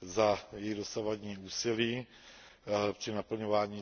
za její dosavadní úsilí při naplňování